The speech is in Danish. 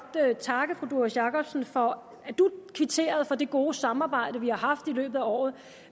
takke fru doris jakobsen for at kvittere for det gode samarbejde vi har haft i løbet af året